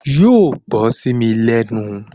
Yóò gbọ́ sí mi lẹ́nu